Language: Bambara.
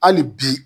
Hali bi